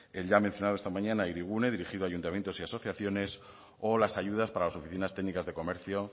el ya mencionado esta mañana hirigune dirigido a ayuntamientos y asociaciones o las ayudas para las oficinas técnicas de comercio